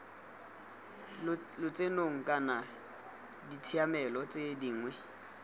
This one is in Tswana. lotsenong kana ditshiamelo tse dingwe